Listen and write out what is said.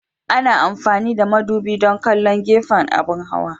Ana amfani da madubi don kallon gefen abin hawa.